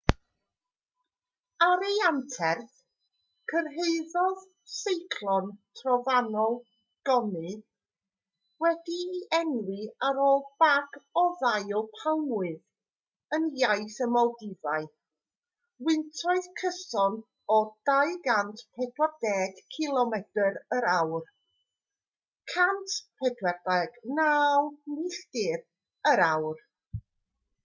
ar ei anterth cyrhaeddodd seiclon trofannol gonu wedi'i enwi ar ôl bag o ddail palmwydd yn iaith y maldifau wyntoedd cyson o 240 cilomedr yr awr 149 milltir yr awr